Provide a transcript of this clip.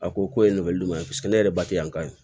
A ko ye ɲuman ye paseke ne yɛrɛ batiki yan ka ye